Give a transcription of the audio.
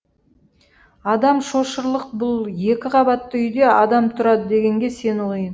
адам шошырлық бұл екі қабатты үйде адам тұрады дегенге сену қиын